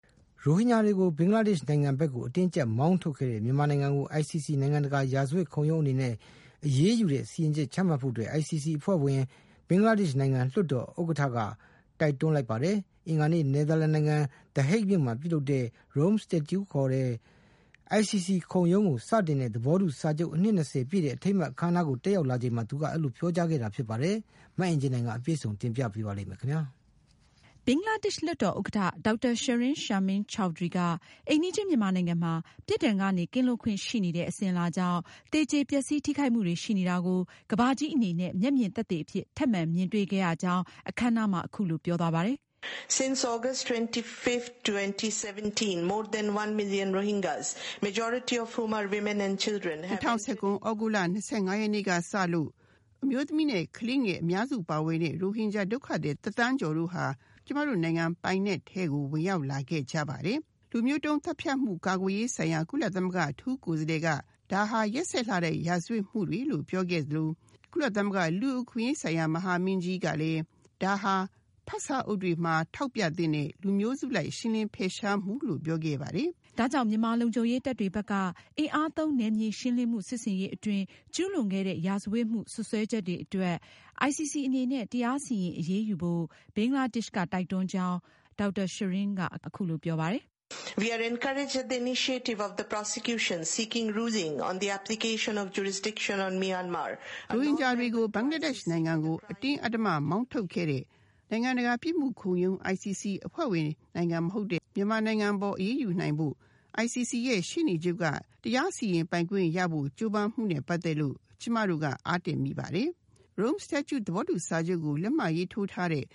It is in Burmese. ရိုဟင်ဂျာတွေကို ဘင်္ဂလားဒေ့ရှ်နိုင်ငံဘက် အတင်းအကြပ်မောင်းထုတ်ခဲ့တဲ့ မြန်မာနိုင်ငံကို ICC နိုင်ငံတကာရာဇဝတ်ခုံရုံးအနေနဲ့ အရေးယူတဲ့ စီရင်ချက်ချမှတ်ဖို့ ICC အဖွဲ့ဝင် ဘင်္ဂလားဒေ့ရှ်နိုင်ငံ လွှတ်တော်ဥက္ကဌက တိုက်တွန်းလိုက်ပါတယ်။ အင်္ဂါနေ့က နယ်သာလန်နိုင်ငံ the Hague မှာပြုလုပ်တဲ့ Rome Statute ခေါ် ICC ခုံးရုံးကို စတင်ခဲ့တဲ့ သဘောတူစာချုပ် အနှစ် ၂၀ ပြည့် အထိမ်းအမှတ် အခမ်းအနားကို တက်ရောက်လာချိန်မှာ သူက အဲဒီလို ပြောကြားခဲ့တာဖြစ်ပါတယ်။ မအင်ကြင်းနိုင်က အပြည့်အစုံကို တင်ပြမှာပါ။ ဘင်္ဂလားဒေ့ရှ် လွှတ်တော်ဥက္ကဌ Dr. Shirin Sharmin Chaudhury က အိမ်နီးချင်းမြန်မာနိုင်ငံမှာ ပြစ်ဒဏ်ကနေ ကင်းလွတ်ခွင့်ရှိနေတဲ့ အစဉ်အလာကြောင့် သေကြေပျက်စီး ထိခိုက်မှုတွေရှိနေတာကို ကမ္ဘာကြီးအနေနဲ့ မျက်မြင်သက်သေအဖြစ် ထပ်မံ မြင်တွေ့ခဲ့ရကြောင်း အခမ်းအနားမှာ အခုလို ပြောပါတယ်။ “၂၀၁၇ခုနှစ် သြဂုတ်လ ၂၅ ရက်နေ့ကစပြီး အမျိုးသမီးနဲ့ ကလေးတွေ အများစုပါဝင်တဲ့ ရိုဟင်ဂျာဒုက္ခသည် တသန်းကျော်တို့ဟာ ကျမတို့ နိုင်ငံပိုင်နက်ထဲကို ဝင်ရောက်လာခဲ့ကြပါတယ်။ လူမျိုးတုန်း သတ်ဖြတ်မှု ကာကွယ်ရေးဆိုင်ရာ ကုလသမဂ္ဂ အထူးကိုယ်စားလှယ်က ဒါဟာ ရက်စက်လှတဲ့ ရာဇဝတ်မှုတွေလို ပြောခဲ့သလို၊ကုလသမဂ္ဂ လူ့အခွင့်အရေးဆိုင်ရာ မဟာမင်းကြီးကလည်း လူမျိုးစုအလိုက်ရှင်းလင်းဖယ်ရှားမှုဆိုင်ရာ ရှင်းလင်းတဲ့နမူနာလို့ပြောခဲ့ပါတယ်။” ဒါကြောင့် မြန်မာလုံခြုံရေးတပ်တွေဘက်က အင်အားသုံးနယ်မြေရှင်းလင်းမှု စစ်ဆင်ရေးအတွင်း ကျူးလွန်ခဲ့တဲ့ ရာဇဝတ်မှု စွပ်စွဲချက်တွေအတွက် ICC အနေနဲ့ တရားစီရင် အရေးယူဖို့ ဘင်္ဂလားဒေ့ရှ်က တိုက်တွန်းကြောင်း ဘင်္ဂလားဒေ့ရှ် လွှတ်တော်ဥက္ကဌ က ပြောပါတယ်။ “ရိုဟင်ဂျာတွေကို ဘင်္ဂလားဒေ့ရှ်နိုင်ငံကို အတင်းအဓမ္မမောင်းထုတ်ခဲ့တဲ့ ICC နိုင်ငံတကာ ရာဇဝတ်ခုံရုံး အဖွဲ့ဝင်မဟုတ်တဲ့ မြန်မာနိုင်ငံအပေါ်အရေးယူနိုင်ဖို့ ICC ရဲ့ရှေ့နေချုပ်က တရားစီရင်ပိုင်ခွင့် ကြိုးပမ်းမှုနဲ့ ပတ်သက်လို့ ကျမတို့က အားတတ်မိပါတယ်။ Rome Statute လို့ခေါ်တဲ့ ICC ကိုစတင်ခဲ့တဲ့ သဘောတူစာချုပ်ကို လက်မှတ်ရေးထိုးထားတဲ့